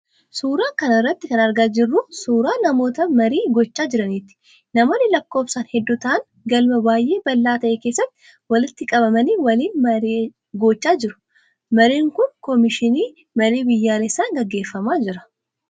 Suura kana irratti kan argaa jirru kun, suura namoota marii gochaa jiraniiti. Namoonni lakkoofsaan hedduu ta'an, galma baay'ee bal'aa ta'e keessatti walitti qabamanii waliin marii gochaa jiru. Mariin kun Komishinii Marii Biyyaalessan gaggeeffamaa jira.